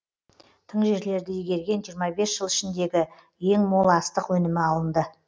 тың жерлерді игерген жиырма бес жыл ішіндегі ең мол астық өнімі алынды